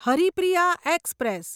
Haripriya express